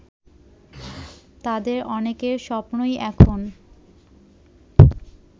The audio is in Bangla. তাদের অনেকের স্বপ্নই এখন